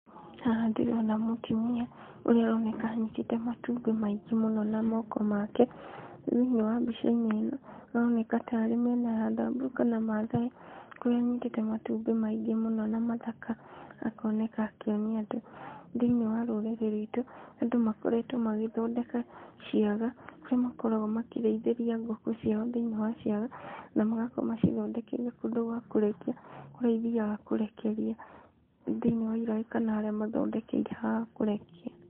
Haha ndĩrona mũtumia, ũrĩa ũroneka anyitĩte matumbĩ maingĩ mũno na moko make. Thĩiniĩ wa mbica-inĩ ĩno, ĩroneka ta arĩ mĩena ya thamburu kana maathai, kũrĩa anyitĩte matumbĩ maingĩ mũno na mathaka, akoneka akĩonia andũ. Thĩiniĩ wa rũrĩrĩ rwitũ, andũ makoretwo magĩthondeka ciaga, kũrĩa makoragwo makĩrĩithĩria ngũkũ ciao thĩiniĩ wa ciaga, na magakorwo macithondekeire kũndũ gwa kũrekia, kũrĩa ithiaga kũrekeria thĩiniĩ wa iraĩ kana kana harĩa mathondekeire ha kũrekia.